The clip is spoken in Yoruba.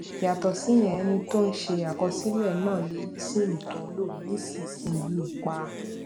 yàtò síyẹn ẹni tó ń ṣe àkọsílè náà lè yí sim tó ń lò nísinsìnyí pa